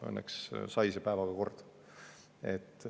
Õnneks sai see päevaga korda.